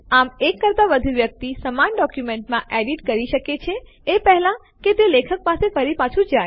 આમ એક કરતા વધુ વ્યક્તિ સમાન ડોક્યુમેન્ટમાં એડીટ કરી શકે છે એ પહેલા કે તે લેખક પાસે ફરી પાછું જાય